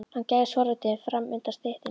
Hann gægðist forvitinn fram undan styttunni.